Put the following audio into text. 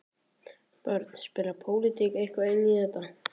Björn: Spilar pólitík eitthvað inn í þetta?